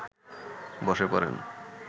বসে পড়েন